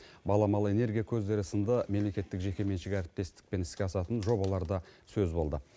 баламалы энергия көздері сынды мемлекеттік жекеменшік әріптестікпен іске асатын жобалар да сөз болды